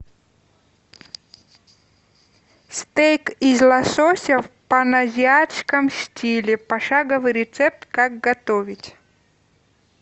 стейк из лосося в паназиатском стиле пошаговый рецепт как готовить